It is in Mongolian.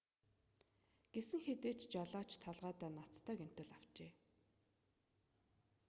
гэсэн хэдий ч жолооч толгойдоо ноцтой гэмтэл авчээ